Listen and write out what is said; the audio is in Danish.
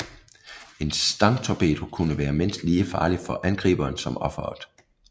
En stangtorpedo kunne være mindst lige farlig for angriberen som offeret